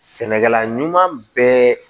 Sɛnɛkɛla ɲuman bɛɛ